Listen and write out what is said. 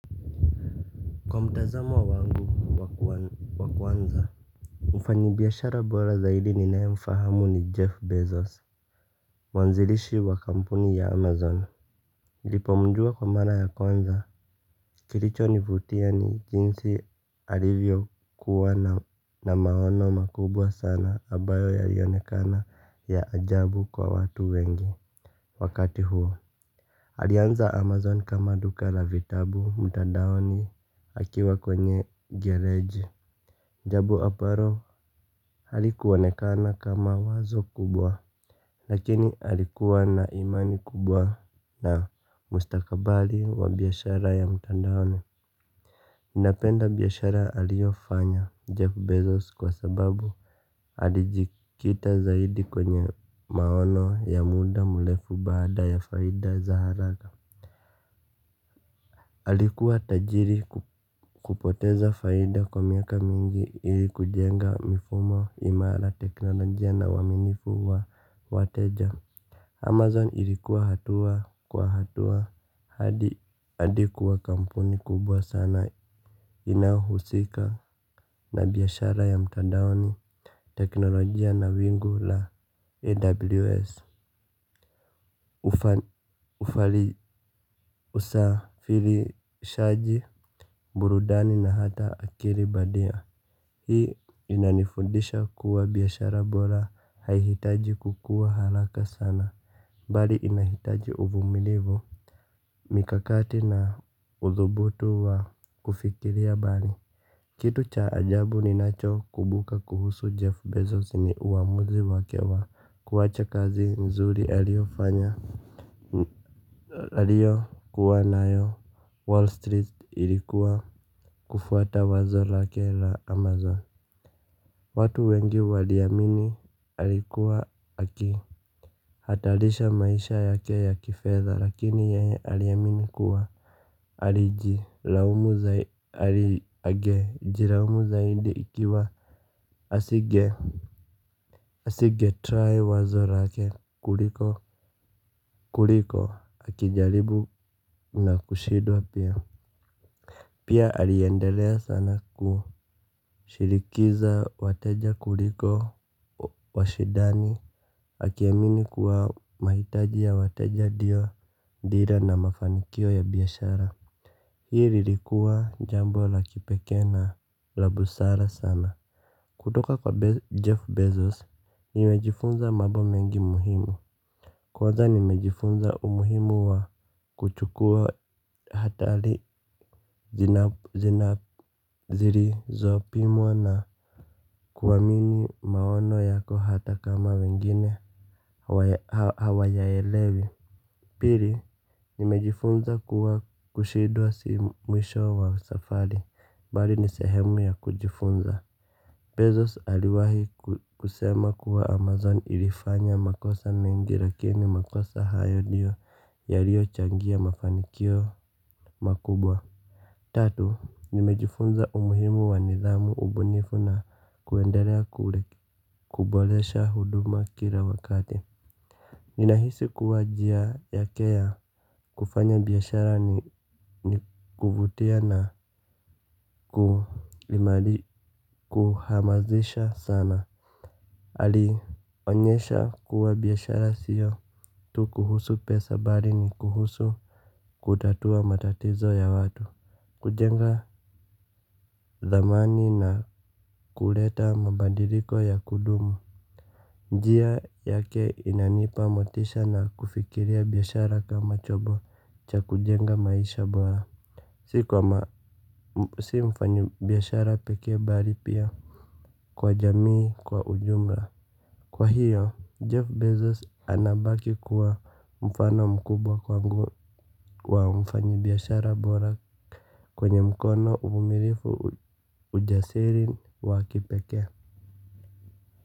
Kwa mtazamo wangu wa kuanza. Mfanyibiashara bora zaidi ninae mfahamu ni Jeff Bezos. Mwanzilishi wa kampuni ya Amazon. Lipo mjua kwa mara ya kwanza kilicho nivutia ni jinsi alivyo kuwa na maono makubwa sana abayo yalionekana ya ajabu kwa watu wengi wakati huo. Alianza amazon kama duka la vitabu mtandaoni akiwa kwenye gereji. Jambo ambaro halikuonekana kama wazo kubwa. Lakini alikuwa na imani kubwa na mustakabali wa biashara ya mtandaoni napenda biashara aliofanya Jeff Bezos kwa sababu alijikita zaidi kwenye maono ya muda mlefu baada ya faida za haraka alikuwa tajiri kupoteza faida kwa miaka mingi ili kujenga mifumo imara teknolojia na uwaminifu wa wateja Amazon ilikuwa hatua kwa hatua hadi kuwa kampuni kubwa sana inahusika na biashara ya mtandaoni teknolojia na wingu la AWS. Ufali usafirishaji burudani na hata akili bandia. Hii inanifundisha kuwa biashara bola haihitaji kukua halaka sana. Bali inahitaji uvumilivu. Mikakati na udhubutu wa kufikiria. Bali kitu cha ajabu ninacho kubuka kuhusu Jeff Bezos ni uwamuzi wake wa kuwacha kazi mzuri aliofanya aliyo kuwa nayo Wall Street ilikuwa kufuata wazo lake la Amazon. Watu wengi waliamini alikuwa aki hatalisha maisha yake ya kifedha lakini yeye aliamini kuwa alijilaumu zaidi jiraumu zaidi ikiwa asige try wazo lake kuliko kuliko akijaribu na kushidwa pia. Pia aliendelea sana kushirikiza wateja kuliko washidani akiamini kuwa mahitaji ya wateja dio dira na mafanikio ya biashara. Hii lilikuwa jambo la kipeke na labusara sana. Kutoka kwa Jeff Bezos, nimejifunza mabo mengi muhimu. Kwanza nimejifunza umuhimu wa kuchukua hatali zirizo pimwa na kuwamini maono yako hata kama wengine hawa yaelewi. Pili nimejifunza kuwa kushidwa si mwisho wa safari bali ni sehemu ya kujifunza. Bali inahitaji uvumilivu. Mikakati na udhubutu wa kufikiria. Bali kitu cha ajabu ninacho kubuka kuhusu Jeff Bezos ni uwamuzi wake wa kuwacha kazi mzuri aliofanya. Tatu, nimejifunza umuhimu wa nidhamu ubunifu na kuendelea kubolesha huduma kila wakati. Nina hisi kuwa jia yake ya kufanya biashara ni kuvutia na kuhamazisha sana. Alionyesha kuwa biashara sio tu kuhusu pesa bali ni kuhusu kutatua matatizo ya watu. Kujenga dhamani na kuleta mabandiliko ya kudumu. Njia yake inanipa motisha na kufikiria biashara kama chombo cha kujenga maisha bora. Si kwa mfanyi biashara peke bali pia kwa jamii kwa ujumla. Kwa hiyo, Jeff Bezos anabaki kuwa mfano mkubwa kwangu wa mfanyi biashara bora kwenye mkono uvumnirifu ujasiri wa kipekee.